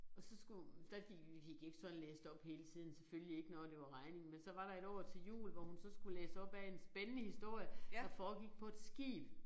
Og så skulle der gik vi gik ikke sådan og læste op hele tiden selvfølgelig ikke når det var regning men så var der et år til jul hvor hun så skulle læse op af en spændende historie der foregik på et skib